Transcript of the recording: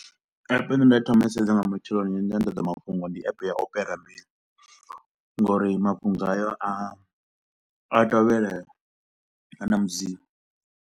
App ine nda thoma u i sedza nga matsheloni yo no nyanḓadza mafhungo ndi App ya Opera Mini, ngauri mafhungo ayo a a tovhelea, a na mudziyo.